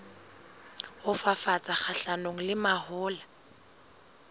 ho fafatsa kgahlanong le mahola